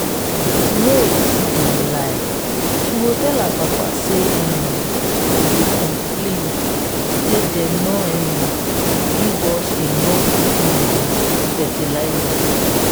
rose too dey lie she go tell her papa say um we dey complain say dem no um give us enough um fertilizer